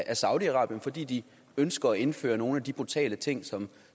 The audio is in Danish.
af saudi arabien fordi de ønsker at indføre nogle af de brutale ting som